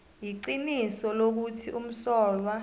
iqiniso lokuthi umsolwa